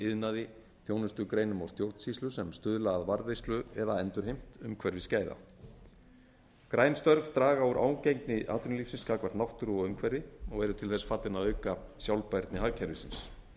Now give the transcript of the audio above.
iðnaði þjónustugreinum og stjórnsýslu sem stuðla að varðveislu eða endurheimt umhverfisgæða græn störf draga úr ágengni atvinnulífsins gagnvart náttúru og umhverfi og eru til þess fallin að auka sjálfbærni hagkerfisins